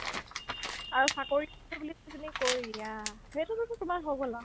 আৰু চাকৰি কৰো বুলি তুমি কৈ দিয়া সেইটোতো তোমাৰ হৈ গ'ল আৰ্